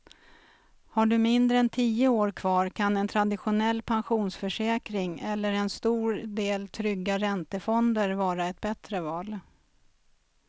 Har du mindre än tio år kvar kan en traditionell pensionsförsäkring eller en stor del trygga räntefonder vara ett bättre val.